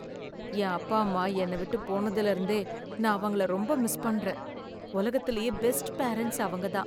என் அப்பா அம்மா என்னை விட்டு போனதுல இருந்தே நான் அவங்கள ரொம்ப மிஸ் பண்றேன். உலகத்துலேயே பெஸ்ட் பேரண்ட்ஸ் அவங்கதான்.